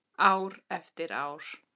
Ár eftir ár.